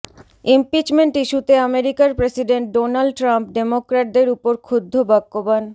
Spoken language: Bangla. ইমপিচমেন্ট ইস্যুতে আমেরিকার প্রেসিডেন্ট ডোনাল্ড ট্রাম্প ডেমোক্র্যাটদের উপর ক্ষুব্ধ বাক্যবাণ